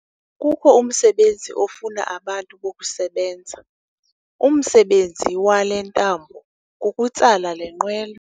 Kukho umsbenzi ofuna abantu bokusebenza. umsebenzi wale ntambo kukutsala le nqwelo